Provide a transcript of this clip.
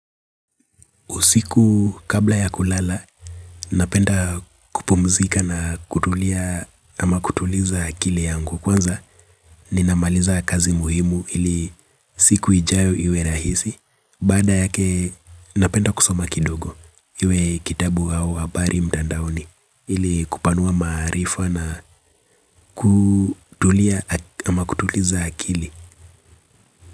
Usiku kabla ya kulala, napenda kupumzika na kutulia ama kutuliza akili yangu kwanza. Ninamaliza kazi muhimu ili siku ijayo iwe rahisi. Baada yake, napenda kusoma kidogo. Iwe kitabu au habari mtandaoni ili kupanua maarifa na kutulia ama kutuliza akili.